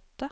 åtte